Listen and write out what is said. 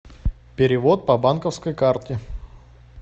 перевод по банковской карте